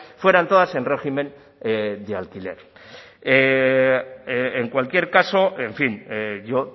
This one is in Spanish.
fueran todas en régimen de alquiler en cualquier caso en fin yo